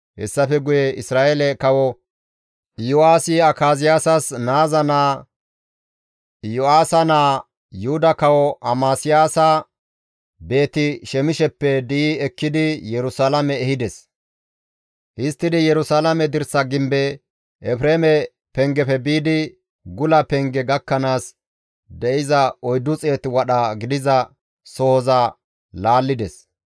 Hessafe guye Isra7eele Kawo Iyo7aasi Akaziyaasas naaza naa, Iyo7aasa naa, Yuhuda kawo Amasiyaasa Beeti-Shemisheppe di7i ekkidi Yerusalaame ehides; histtidi Yerusalaame dirsaa gimbe, Efreeme Pengefe biidi gula Penge gakkanaas de7iza 400 wadha gidiza sohoza laallides.